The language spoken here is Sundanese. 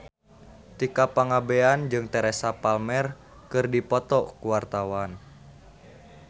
Tika Pangabean jeung Teresa Palmer keur dipoto ku wartawan